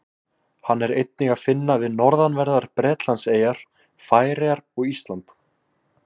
Hann er einnig að finna við norðanverðar Bretlandseyjar, Færeyjar og Ísland.